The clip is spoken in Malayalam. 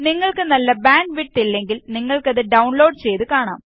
നിങ്ങള്ക്ക് നല്ല ബാന്ഡ് വിഡ്ത്ത് ഇല്ലെങ്കില് നിങ്ങള്ക്ക് അത് ഡൌണ്ലോഡ് ചെയ്ത് കാണാം